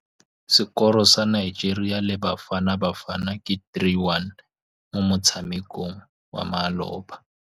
Sekôrô sa Nigeria le Bafanabafana ke 3-1 mo motshamekong wa malôba.